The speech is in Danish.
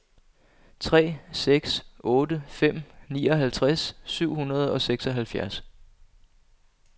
tre seks otte fem nioghalvtreds syv hundrede og seksoghalvfjerds